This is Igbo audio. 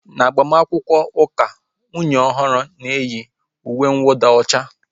N'agbamakwụkwọ ụka, nwunye ọhụrụ ga-eyi uwe nwụda ọcha